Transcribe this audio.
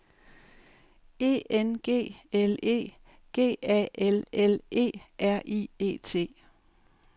E N G L E G A L L E R I E T